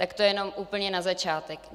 Tak to jenom úplně na začátek.